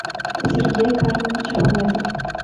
сергей карлович ахметов